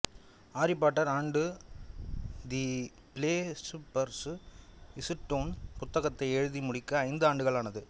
aari Potter and the philosopher's stone புத்தகத்தை எழுதி முடிக்க ஐந்து ஆண்டுகள் ஆனது